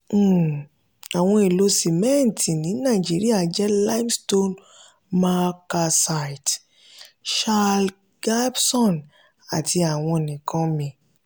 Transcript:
um àwọn èlò ṣimẹntì ní naijirìa jẹ́ limestone marl calcite um shale gypsum àti àwọn nkan mìí.